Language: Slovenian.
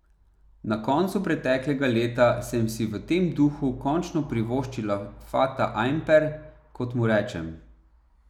Na koncu preteklega leta sem si v tem duhu končno privoščila fata ajmper, kot mu rečem.